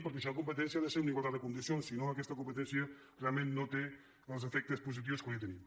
perquè si hi ha competència ha de ser en igualtat de condicions si no aquesta competència realment no té els efectes positius que hauria de tenir